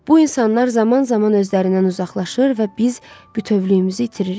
Bu insanlar zaman-zaman özlərindən uzaqlaşır və biz bütövlüyümüzü itiririk.